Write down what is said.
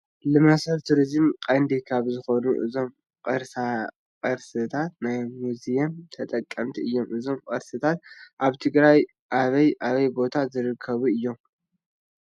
ንመስሕብ ቱሪዝም ቀንዲ ካብ ዝኾኑ እዞም ቅርሳቅርስታ ናይ ሙዚየም ተጠቐስቲ እዮም፡፡ እዞም ቅርስታት ኣብ ትግራይ ኣበይን ኣበይን ቦታታት ዝርከቡ እዮም?